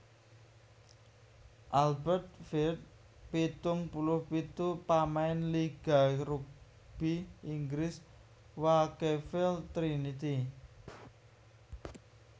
Albert Firth pitung puluh pitu pamain liga rugby Inggris Wakefield Trinity